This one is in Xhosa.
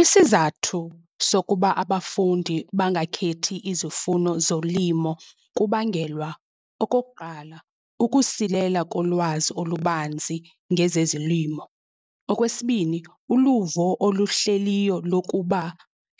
Isizathu sokuba abafundi bangakhethi izifuno zolimo kubangelwa okokuqala, kukusilela kolwazi olubanzi ngezezilimo. Okwesibini, uluvo oluhleliyo lokuba